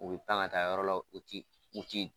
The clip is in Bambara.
U bɛ pan ka taa yɔrɔ la u ti u ti